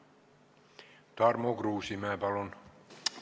Tarmo Kruusimäe, palun!